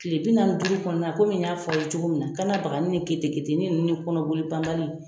Tile bi naani ni duuru kɔnɔna na komi y'a f'a ye cogo min na, kanna bagani ni keteketeni ninnu ni kɔnɔboli banbali